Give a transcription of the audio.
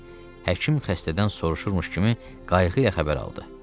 Həkim xəstədən soruşurmuş kimi qayğı ilə xəbər aldı.